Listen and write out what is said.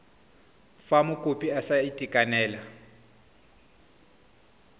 fa mokopi a sa itekanela